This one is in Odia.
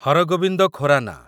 ହର ଗୋବିନ୍ଦ ଖୋରାନା